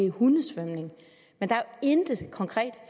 hundesvømning men der er intet konkret